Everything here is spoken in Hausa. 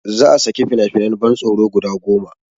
Za a saki fina finan ban tsoro guda goma